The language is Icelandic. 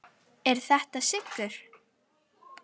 Er þetta sigur?